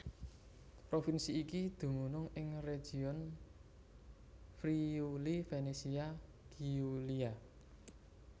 Provinsi iki dumunung ing region Friuli Venezia Giulia